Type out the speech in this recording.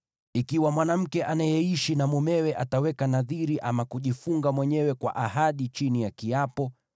“Ikiwa mwanamke anayeishi na mumewe ataweka nadhiri ama kujifunga mwenyewe kwa ahadi chini ya kiapo,